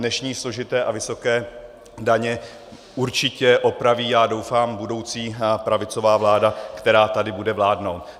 Dnešní složité a vysoké daně určitě opraví, já doufám, budoucí pravicová vláda, která tady bude vládnout.